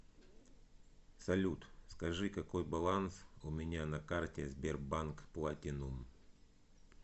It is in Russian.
салют скажи какой баланс у меня на карте сбербанк платинум